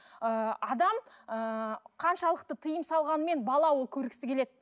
ыыы адам ыыы қаншалықты тыйым салғанымен бала ол көргісі келеді